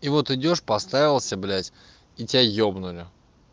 и вот идёшь подставился блять и тебя ёбнули